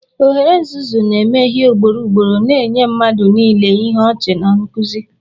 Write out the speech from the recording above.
Ogre nzuzu na-emehie ugboro ugboro, na-enye mmadụ niile ihe ọchị na nkuzi.